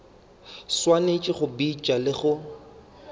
swanetše go bitša le go